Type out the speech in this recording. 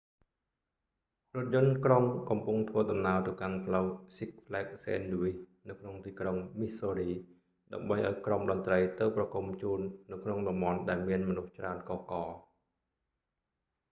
រថយន្តក្រុងកំពុងធ្វើដំណើរទៅកាន់ផ្លូវ six flags st louis នៅក្នុងទីក្រុងមីសសូរី ដើម្បីឲ្យក្រុមតន្រ្តីទៅប្រគំជូននៅក្នុងតំបន់ដែលមានមនុស្សច្រើនកុះករ